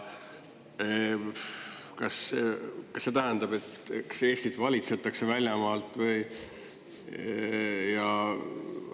Kas see tähendab, et Eestit valitsetakse väljamaalt või?